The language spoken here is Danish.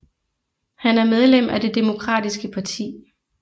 Han er medlem af det demokratiske parti